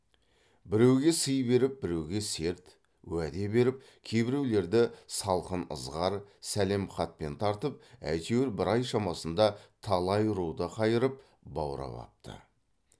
біреуге сый беріп біреуге серт уәде беріп кейбіреулерді салқын ызғар сәлем хатпен тартып әйтеуір бір ай шамасында талай руды қайырып баурап апты